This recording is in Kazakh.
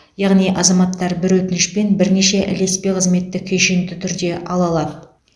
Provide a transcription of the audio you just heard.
яғни азаматтар бір өтінішпен бірнеше ілеспе қызметті кешенді түрде ала алады